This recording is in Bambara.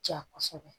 Ja kosɛbɛ